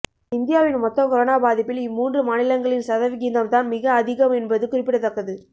இந்தியாவின் மொத்த கொரோனா பாதிப்பில் இம்மூன்று மாநிலங்களின் சதவிகிதம் தான் மிக அதிகம் என்பது குறிப்பிடத்தக்கது